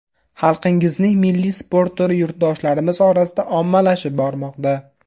Xalqingizning milliy sport turi yurtdoshlarimiz orasida ommalashib bormoqda.